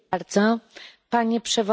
Panie Przewodniczący!